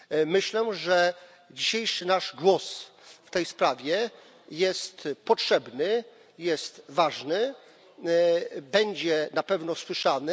Myślę, że dzisiejszy nasz głos w tej sprawie jest potrzebny, jest ważny, będzie na pewno słyszany.